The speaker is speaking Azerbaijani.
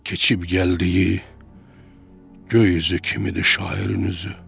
Keçib gəldiyi göy üzü kimidir şairin üzü.